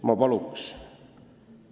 Ma palun lisaaega!